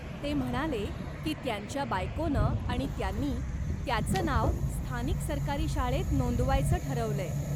ते म्हणाले की त्यांच्या बायकोनं आणि त्यांनी, त्याचं नाव स्थानिक सरकारी शाळेत नोंदवायचं ठरवलंय.